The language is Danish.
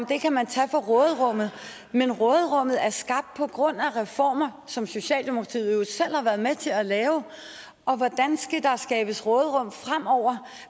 det kan man tage fra råderummet men råderummet er skabt på grund af reformer som socialdemokratiet jo selv har været med til at lave og hvordan skal der skabes råderum fremover